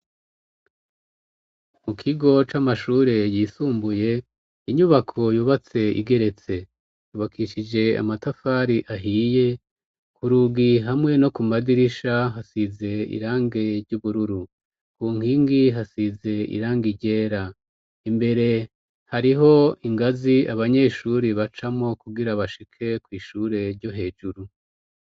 Mu kigo c'amashure yisumbuye inyubako yubatse igeretse yubakishije amatafari ahiye ku rugi hamwe no ku madirisha hasize irange ry'ubururu ku nkingi hasize irangi ryera imbere hariho ingazi abanyeshuri bacamo kugira bashike ku ishure ryo hejuru.